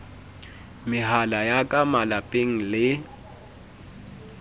mehala ya ka malapeng le